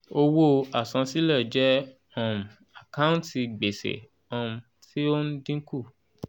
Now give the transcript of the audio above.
owó àsansílẹ̀ jẹ́ um àkántì gbèsè um tí ó ń ń dínkù